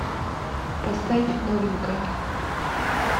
поставь новенькая